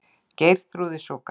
Geirþrúði svo grátt.